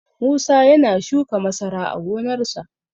Musa ya na shuka masara a gonarsa.